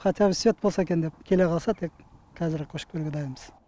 хотя бы свет болса екен деп келе қалса тек қазір ақ көшіп келуге дайынбыз